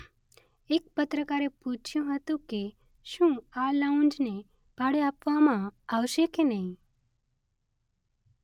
એક પત્રકારે પૂછ્યું હતું કે શું આ લાઉન્જને ભાડે આપવામાં આવશે કે નહીં.